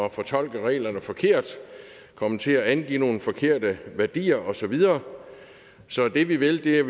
at fortolke reglerne forkert kommet til at angive nogle forkerte værdier og så videre så det vi vil er